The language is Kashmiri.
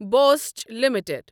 Bosch limited